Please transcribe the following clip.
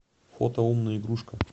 фото умная игрушка